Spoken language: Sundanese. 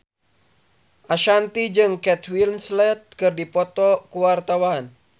Ashanti jeung Kate Winslet keur dipoto ku wartawan